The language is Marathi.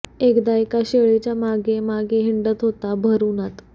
एकदा एका शेळीच्या मागे मागे हिंडत होता भर उन्हात